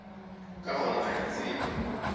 ka gona ga ke tsebe